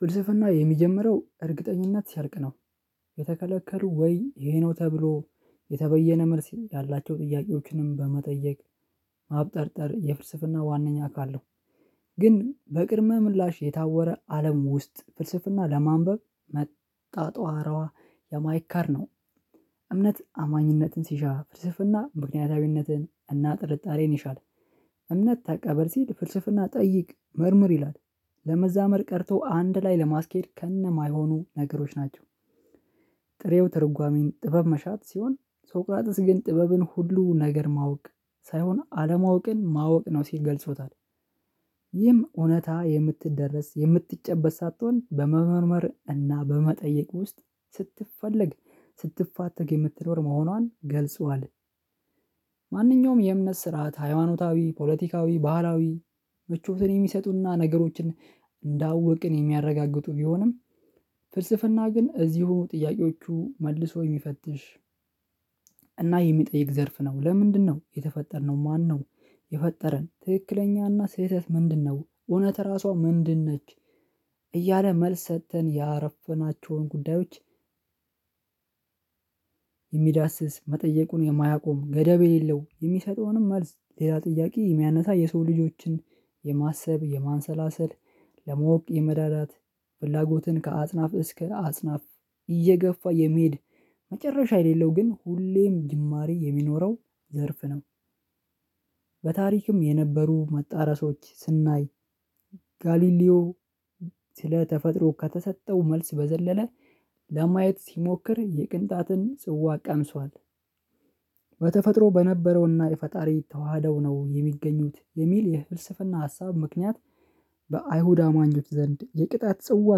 ፍልስፍና የሚጀምረው እርግጠኝነት ሰርቅ ነው። የተከለከሉ ወይ ይሄ ነው ተብሎ? የተበየነ መልስ ያላቸው ጥያቄዎችንም በመጠየቅ ማብጠርጠር የፍልስፍና ዋናኛ አካል ነው። ግን በቅድመ ምላሽ የታወረ አለም ውስጥ ፍልስፍና ለማንበብ መጣጧሯዋ የማይካር ነው። እምነት አማኝነትን ሲሻ ፍርስስና ምክንያታዊነትን እና ጥርጣሬን ይሻላል። እምነት ተቀበል ሲል ፍልስፍና ጠይቅ መርምር ይላል። ለመዛመር ቀርቶ አንድ ላይ ለማስኬድ ከነ ማይሆኑ ነገሮች ናቸው። ጥሬው ትርጓሜን ጥበብ መሻት ሲሆን ሶቅራጥስ ግን ጥበብን ሁሉ ነገር ማወቅ ሳይሆን አለማወቅን ማወቅ ነው ሲል ገልጾታል። ይህም እውነታ የምትደረስ የምትጨበጥ ሳትሆን በመመርመር እና በመጠየቅ ውስጥ ስትፈልግ ስትፋተግ የምትኖር መሆኗን ገልጿል። ማንኛውም የእምነት ስርዓት ሃይማኖታዊ ፖለቲካዊ ባህላዊ ምቾትን የሚሰጡና ነገሮችን እንዳወቅን የሚያረጋግጡ ቢሆንም። ፍልስፍና ግን እዚሁ ጥያቄዎቹ መልሶ የሚፈትሽ እና የሚጠይቅ ዘርፍ ነው። ለምንድነው የተፈጠርነው ማነው? የፈጠረን ትክክለኛና ስህተት ምንድነው? እውነት ራሷ ምንድን ነች? እያለ መልስ ሰጥተን ያረፈናቸውን ጉዳዮች። የሚዳስስ መጠየቁን የማያቆም ገደብ የሌለው የሚሰጠውንም መልስ ሌላ ጥያቄ የሚያነሳ የሰው ልጆችን የማሰብ የማንሰላሰል ለማወቅ የመዳዳት ፍላጎትን ከአጽናፍ እስከ አጽናፍ እየገፋ የሚሄድ መጨረሻ የሌለው ግን ሁሌም ጅማሬ የሚኖረው ዘርፍ ነው። በታሪክም የነበሩ መጣረሶች ስናይ ጋሊሊዮ ስለተፈጥሮ ከተሰጠው መልስ በዘለለ ለማየት ሲሞክር የቅንጣትን ጽዋ ቀምሷል። በተፈጥሮ በነበረውና የፈጣሪ የተዋሃደው ነው የሚገኙት የሚል የፍልስፍና ሀሳብ ምክንያት በአይሁድ አማኞት ዘንድ የቅጣት ጽዋ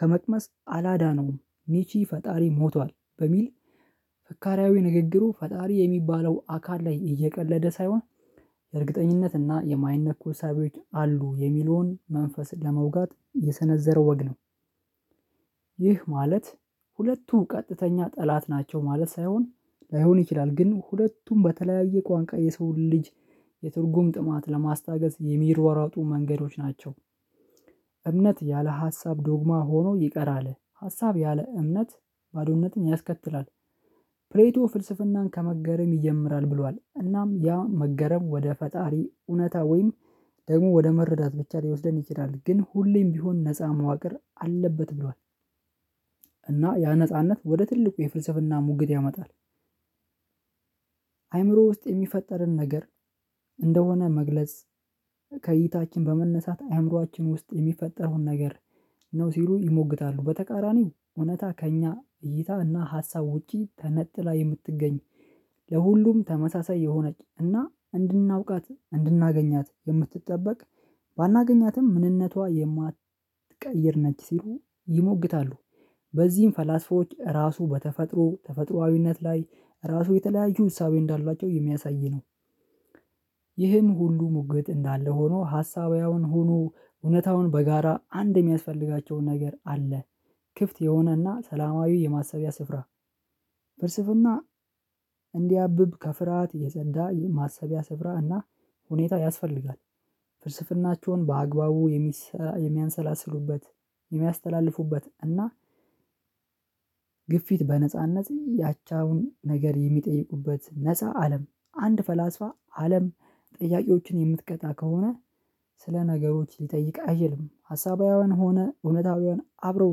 ከመቅመስ አላዳነውም። ኒቺ ፈጣሪ ሞቷል በሚል ፈካሪያዊ ንግግሩ ፈጣሪ የሚባለው አካል ላይ እየቀለደ ሳይሆን እርግጠኝነት እና የማይነኩ ሳቢዎች አሉ የሚለውን መንፈስን ለመውጋት የሰነዘረው ወግ ነው። ይህ ማለት ሁለቱ ቀጥተኛ ጠላት ናቸው ማለት ሳይሆን ላይሆን ይችላል ግን ሁለቱም በተለያየ ቋንቋ የሰው ልጅ የትርጉም ጥማት ለማስታገስ የሚርዋራጡ መንገዶች ናቸው። እምነት ያለ ሀሳብ ዶግማ ሆኖ ይቀራል ሀሳብ ያለ እምነት ባዶነትን ያስከትላል። ፕሬቶ ፍልስፍናን ከመገረም ይጀምራል ብሏል እናም ያ መገረም ወደ ፈጣሪ እውነታ ወይም ደግሞ ወደ መረዳት ብቻ ሊወስደን ይችላል ግን ሁሌም ቢሆን ነፃ መዋቅር አለበት ብሏል። እና ያ ነጻነት ወደ ትልቁ የፍልስፍና ሙግት ያመጣል። አይምሮ ውስጥ የሚፈጠርን ነገር እንደሆነ መግለጽ ከእይታችን በመነሳት አእምሮአችን ውስጥ የሚፈጠረዉን ነገር ነው ሲሉ ይሞግታሉ። በተቃራኒው እውነታ ከእኛ እይታ እና ሀሳብ ውጪ ተነጥላ የምትገኝ ለሁሉም ተመሳሳይ የሆነች እና እንድናውቃት እንድናገኛት የምትጠበቅ ባናገኛትም ምንነቷ የማትቀይር ነች ሲሉ ይሞግታሉ። በዚህም ፈላስፎች ራሱ በተፈጥሮ ተፈጥሮአዊነት ላይ ራሱ የተለያየ እሳቤ እንዳሏቸው የሚያሳይ ነው። ይህን ሁሉ ሙግት እንዳለ ሆኖ ሀሳባዊያውን ሆኖ እውነታውን በጋራ አንድ የሚያስፈልጋቸው ነገር አለ። ክፍት የሆነና ሰላማዊ የማሰቢያ ስፍራ ፍልስፍና እንዲያብብ ከፍርሃት የጸዳ ማሰቢያ ስፍራ እና ሁኔታ ያስፈልጋል። ፍልስፍናቸውን በአግባቡ የሚሰራ የሚያንሰላስሉበት የሚያስተላልፉበት እና ግፊት በነጻነት ያቻውን ነገር የሚጠይቁበት ነፃ አለም አንድ ፈላስፋ አለም ጥያቄዎችን የምትቀጣ ከሆነ ስለ ነገሮች ሊጠይቅ አይችልም ሀሳባዊያዊያን ሆነ እውነታውያን አብረው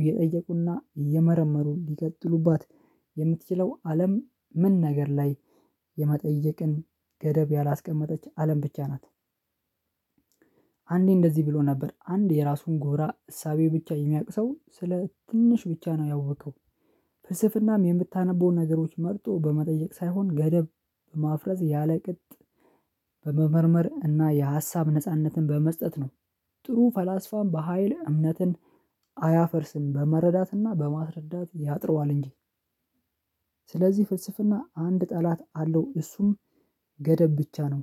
እየጠየቁና እየመረመሩ ሊቀጥሉባት የምትችለው አለም ምን ነገር ላይ የመጠየቅን ገደብ ያላስቀመጠች አለም ብቻ ናት። አንዴ እንደዚህ ብሎ ነበር አንድ የራሱን ጎራ እሳቤ ብቻ የሚያቅ ሰው ስለ ትንሽ ብቻ ነው ያወቀው። ፍልስፍናም የምታነበውን ነገሮች መርጦ በመጠየቅ ሳይሆን ገደብ ማፍረስ ያለቅጥ በመመርመር እና የሀሳብ ነጻነትን በመስጠት ነው። ጥሩ ፈላስፋን በሃይል እምነትን አያፈርስም በመረዳትና በማስረዳት ያጥረዋል እንጂ። ስለዚህ ፍልስፍና አንድ ጠላት አለው እሱም ገደብ ብቻ ነው።